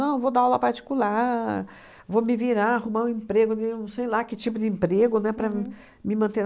Não, eu vou dar aula particular, vou me virar, arrumar um emprego de um sei lá que tipo de emprego, né, para me manter.